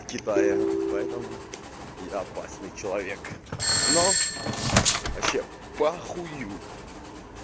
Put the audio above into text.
китая поэтому я опасный человек но вообще похую